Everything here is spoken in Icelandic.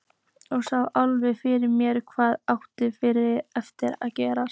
Sá alveg fyrir mér hvað átti eftir að gerast.